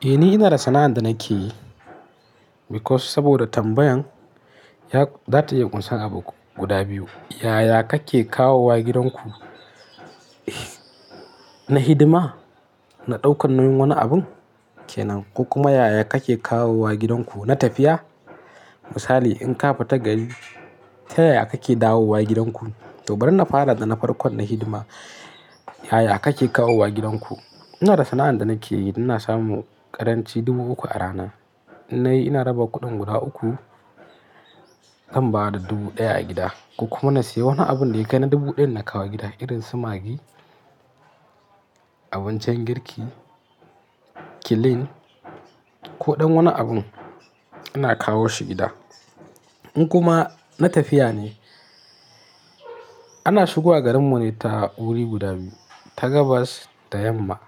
Eh ni ina da sana'an da nake yi because saboda tambayan za ta yi ƙusan abu guda biyu. Yaya kake kawowa gidanku na hidima, na ɗaukan wani abun kenan, kuma yaya kake kawowa gidanku na tafiya? Misali in ka fita gari, ta yaya kake dawowa gidanku? Tobar na fara da na farkon na hidima, yaya kake kawowa gidanku? Ina da sana'an da nake yi, ina samu ƙaranci dubu uku a rana. Ina raba kuɗin guda uku, zan ba da dubu ɗaya a gida kuma na sayi wani abin da ya kai na dubu ɗaya na kawo gida irin su magi, abincin girki, kilin ko ɗan wani abin ana kawar shi gida. In kuma na tafiya ne, ana shigowa garin mu ne ta wuri guda biyu, ta Gabas da yamma.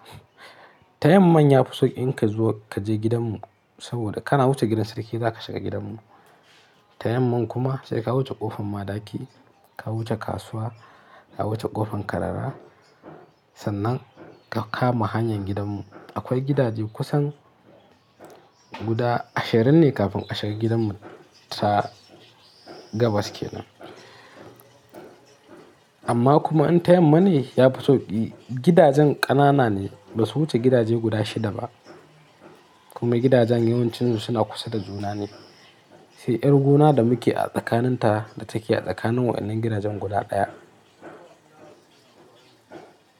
Ta yamma ya fi sauƙi in ka zuwa ka je gidanmu saboda kana wuce gidan sarki za ka shiga gidanmu. Ta yamma kuma sai ka wuce ƙofan Madaki, ka wuce kasuwa, ka wuce ƙofan Karara sannan ka kama hanyar gidanmu. Akwai gidaje kusan guda ashirin ne kafin a shiga gidanmu ta Gabas kenan. Amma kuma in ta yamma ne ya fi sauƙi, gidajen ƙanana ne, ba su wuce gidaje guda shida ba. Kuma gidajen yawancinsu suna kusa da juna ne. Sai 'yar gona da muke a tsakanin ta da take a tsakanin waɗannan gidajen guda ɗaya.